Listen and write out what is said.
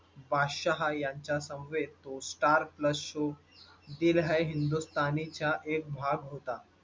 बादशहा यांच्या समवेत तो Starplus show दिल है हिंदुस्तानी च्या एक भाग होता.